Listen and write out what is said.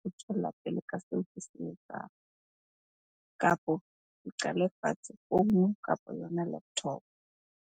ho pele ka seo ke se etsang. Kapo ke qale fatshe founu kapa yona laptop.